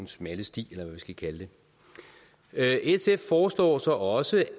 smalle sti eller hvad vi skal kalde det sf foreslår så også